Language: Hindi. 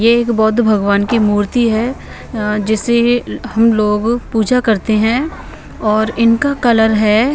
ये एक बौद्ध भगवान की मूर्ति है अ जिसे ही हम लोग पूजा करते हैं और इनका कलर है--